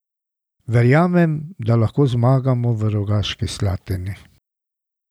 Verjamem, da lahko zmagamo v Rogaški Slatini.